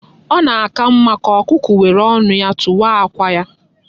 Ọ na aka mma ka ọkụkọ were ọnụ ya tụwa àkwà ya